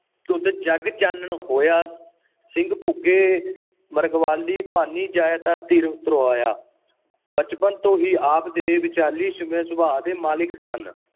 ਧੁੰਦ ਜਗ ਚਾਨਣ ਹੋਆ। ਸਿੰਘ ਬੁਕੇ ਮਿਰਗਾਵਲੀ ਭੰਨੀ ਜਾਇ ਨ ਧੀਰ ਧਰੋਆ। ਬਚਪਨ ਤੋਂ ਹੀ ਆਪ ਦੇ ਵਿਚਾਰਸ਼ੀਲ ਸੁਭਾਅ ਦੇ ਮਾਲਿਕ ਸਨ